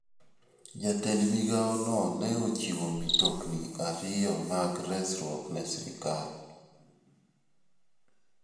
Jatend migao no ne ochiwo mtokni ariyo mag resruok ne sirkal.